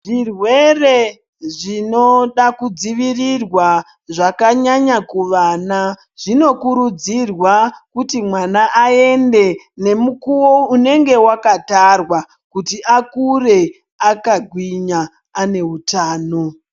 Zvirwere zvinoda kudzivirirwa zvakanyanya kuvana zvinokurudzirwa kuti mwana aende nemukuwo unenge wakatarwa kuti akure akagwinya ane utano.